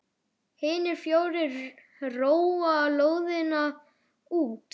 Hinir fjórir róa lóðina út.